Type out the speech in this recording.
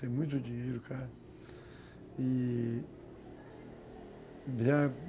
Tem muito dinheiro, cara. E...